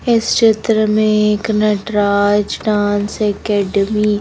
इस चित्र में एक नटराज डांस एकेडमी --